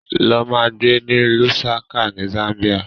Lọ ma gbé ní Lusaca ni Zambia!